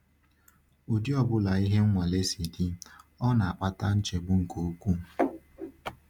Ụdị ọ bụla ihe nwale si dị, ọ na-akpata nchegbu nke ukwuu.